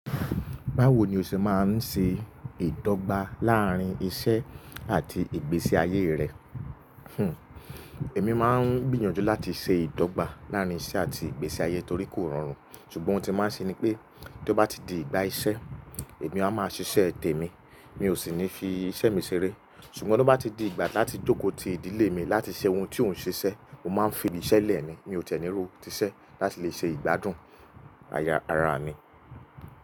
Báwo ni o ṣe máa ń ṣe ìdọ́gba láàárín iṣẹ́ àti ìgbésí ayé rẹ? Hhm, èmi máa ń gbìyànjú láti ṣe ìdọ́gba láàárín iṣẹ́ àti ìgbésí ayé torí kò rọrùn, ṣùgbọ́n oun tí mo máa ń ṣe ni pé tó bá ti di ìgbà iṣẹ́, èmi a máa ṣiṣẹ́ tè mi, mi ò sì ní fi iṣẹ́ mi ṣeré. Ṣùgbọ́n tó bá ti di ìgbà láti jókòó ti ìdílé mi láti ṣe oun tí ò ń ṣe iṣẹ́, mo máa ń fi iṣẹ́ lẹ̀ ni, mi ò tẹ́ni ró tíṣẹ́ láti lè ṣe ìgbádùn aya ra mi.